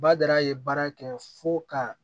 Badara ye baara kɛ fo ka